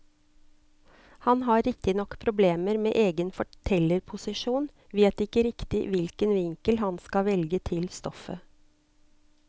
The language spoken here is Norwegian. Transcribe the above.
Han har riktignok problemer med egen fortellerposisjon, vet ikke riktig hvilken vinkel han skal velge til stoffet.